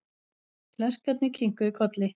Klerkarnir kinkuðu kolli.